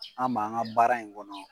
an b'an ka baara in kɔnɔ